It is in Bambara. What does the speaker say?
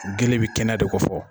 Gele bɛ kɛnɛya de ko fɔ.